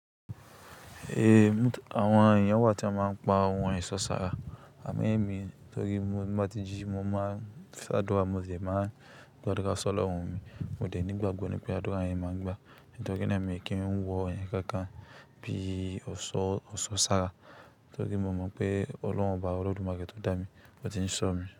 Ehn, àwon ènìyàn wà tí won máa ń pa ohun èso sára. Àmo ẹ̀mí torí pé tí mo bá ti jí, mo máa n sàdúrà, mo de máa gbadurá s'Olorun mi. Mo dẹ̀ nígbàgbọ̀ ni pé àdúrà yẹn máa ń gbà. Torí náà èmi kí ń wọ ohun kánkan bíi ọ̀ṣọ́ sára torí mo mọ̀ pé Ọlọ́run Oba Olódùmarè tó dá mi, ó ti ń ṣọ́ mi.